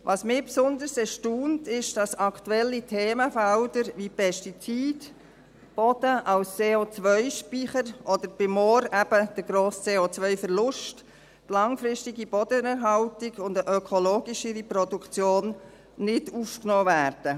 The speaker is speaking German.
Was mich besonders erstaunt, ist, dass aktuelle Themenfelder – wie Pestizid, Boden als CO-Speicher oder bei Mooren eben der grosse CO-Verlust, langfristige Bodenerhaltung und eine ökologischere Produktion – nicht aufgenommen werden.